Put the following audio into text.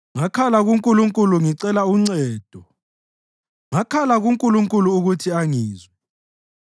Ngakhala kuNkulunkulu ngicela uncedo; ngakhala kuNkulunkulu ukuthi angizwe.